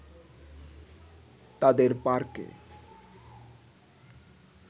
তাদের পার্কে